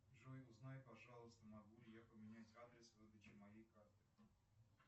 джой узнай пожалуйста могу ли я поменять адрес выдачи моей карты